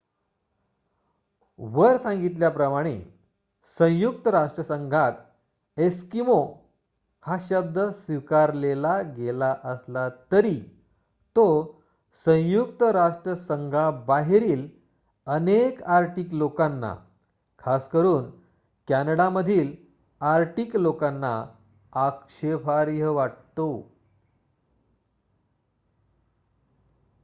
"वर सांगितल्याप्रमाणे संयुक्त राष्ट्रसंघात "एस्किमो" हा शब्द स्वीकारलेला गेला असला तरी तो संयुक्त राष्ट्रसंघाबाहेरील अनेक आर्टिक लोकांना खासकरून कॅनडामधील आर्टिक लोकांना आक्षेपार्ह वाटतो.